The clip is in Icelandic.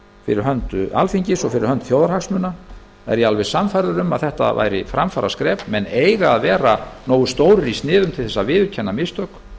fyrir hönd alþingis og fyrir hönd þjóðarhagsmuna er ég alveg sannfærður um að þetta væri framfaraskref menn eiga að vera nógu stórir í sniðum til þess að viðurkenna mistök